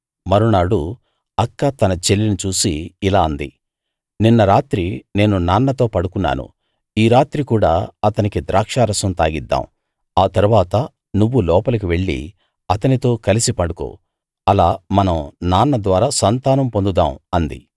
మరునాడు అక్క తన చెల్లిని చూసి ఇలా అంది నిన్న రాత్రి నేను నాన్నతో పడుకున్నాను ఈ రాత్రి కూడా అతనికి ద్రాక్షారసం తాగిద్దాం ఆ తరువాత నువ్వు లోపలి వెళ్లి అతనితో కలిసి పండుకో అలా మనం నాన్న ద్వారా సంతానం పొందుదాం అంది